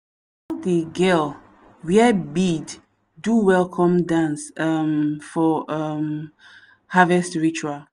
all the girl wear bead do welcome dance um for um harvest ritual.